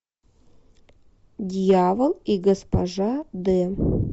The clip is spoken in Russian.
дьявол и госпожа д